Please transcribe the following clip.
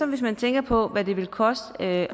hvis man tænker på hvad det vil koste at